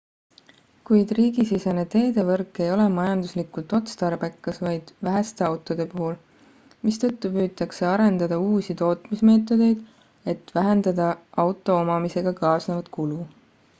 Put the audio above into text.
kuid riigisisene teedevõrk ei ole majanduslikult otstarbekas vaid väheste autode puhul mistõttu püütakse arendada uusi tootmismeetodeid et vähendada auto omamisega kaasnevat kulu